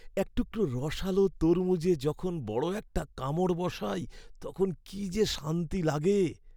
এক টুকরো রসালো তরমুজে যখন বড় একটা কামড় বসাই তখন কী যে শান্তি লাগে!